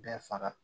Bɛɛ faga